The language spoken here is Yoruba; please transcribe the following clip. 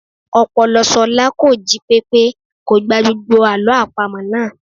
Ọpọlọ Ṣọlá kò jí pépé, kò gba gbogbo Àlọ́ àpamọ̀ náà.